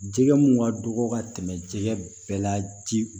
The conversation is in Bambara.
Jɛgɛ mun ka dɔgɔ ka tɛmɛ jɛgɛ bɛɛ la ji